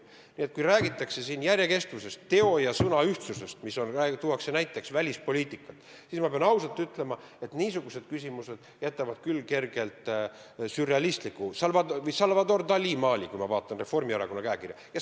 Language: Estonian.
Nii et kui räägitakse järjekestvusest, teo ja sõna ühtsusest näiteks välispoliitikas, siis pean ausalt ütlema, et niisugused küsimused jätavad küll kergelt sürrealistliku, näiteks Salvador Dalí maali mulje, kui ma Reformierakonna käekirja vaatan.